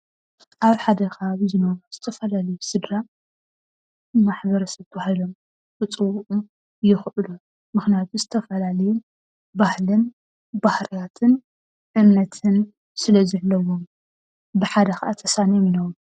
ኣብ ሓደ ከባቢ ዝነብሩ ዝተፈላዩ ስድራ ማሕበረሰብ ባህሎም ክፅወዑ ይክእሉ። ምክንያቱ ዝተፈላለየ ባህሊን ባህርያትን እምነትን ስለዘለዎም። ብሓደ ከዓ ተሳንዮም ይነብሩ።